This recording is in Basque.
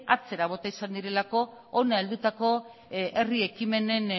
atzera bota izan direlako hona heldutako herri ekimenen